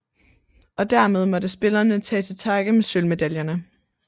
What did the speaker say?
Og dermed måtte spillerne tage til takke med sølvmedaljerne